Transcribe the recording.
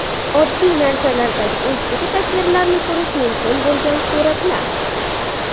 Oddiy narsalardagi o‘zgacha tasvirlarni ko‘rish mumkin bo‘lgan suratlar .